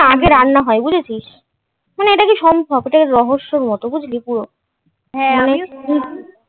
আগে রান্না হয় বুঝেছিস মানে এটা কী সম্ভব এটা কী রহস্যের মতো বুঝলি পুরো